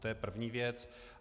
To je první věc.